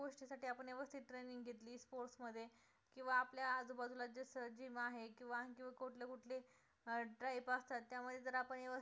sports मध्ये किंवा आपल्या आजू बाजूला जसं gym आहे किंवा आणखीन कुठले कुठले अं असतात तर त्यामुळे जर आपण व्यवस्थित